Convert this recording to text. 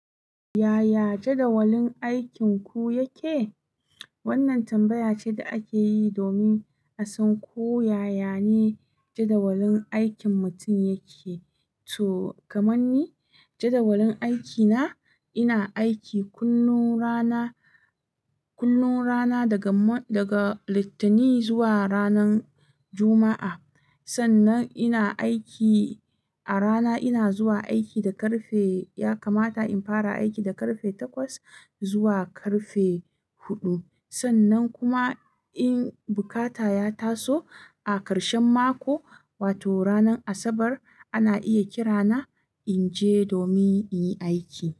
Yaya jadawalin aikinku yake? Wannan tambaya ce da ake yi domin a san ko yaya ne jadawalin aikin mutum yake. Toh, kaman ni, jadawalin aikina, ina aiki kullum rana, kullum rana daga Mon daga Littini zuwa ranan Juma'a. Sannan ina aiki a rana, ina zuwa aiki da ƙarfe ya kamata in fara aiki da ƙarfe takwas zuwa ƙarfe huɗu. Sannan kuma in bukata ya taso, a ƙarshen mako, wato ranar Asabar ana iya kira na in je domin in yi aiki.